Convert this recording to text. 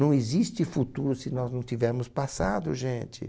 Não existe futuro se nós não tivermos passado, gente.